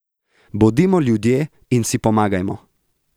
Bodimo ljudje in si pomagajmo!